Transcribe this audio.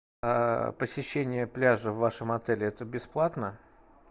посещение пляжа в вашем отеле это бесплатно